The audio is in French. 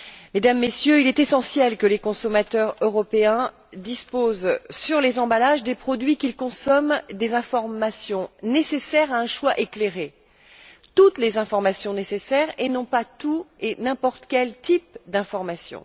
Mesdames et Messieurs, il est essentiel que les consommateurs européens disposent, sur les emballages des produits qu'ils consomment, des informations nécessaires à un choix éclairé, de toutes les informations voulues, et non pas de tout et n'importe quel type d'information.